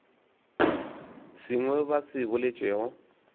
sengwe seo ba se boletšego